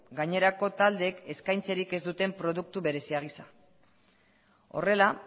gainerako taldeek eskaintzerik ez duten produktu berezi gisa horrela